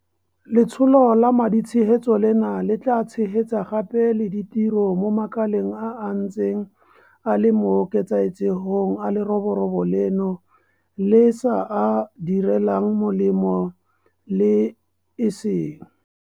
Letsholo la maditshegetso leno le tla tshegetsa gape le ditiro mo makaleng a a ntseng a le mo ketsaetsegong a leroborobo leno le sa a direlang molemo le e seng.